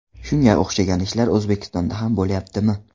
Shunga o‘xshagan ishlar O‘zbekistonda ham bo‘lyaptimi?